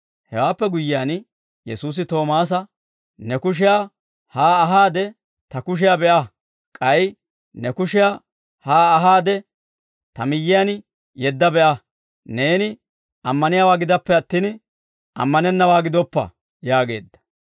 Hewaappe guyyiyaan, Yesuusi Toomaasa, «Ne kushiyaa haa ahaade, Ta kushiyaa be'a, k'ay ne kushiyaa haa ahaade, Ta miyyiyaan yeedda be'a, neeni ammaniyaawaa gidappe attin, ammanennawaa gidoppa!» yaageedda.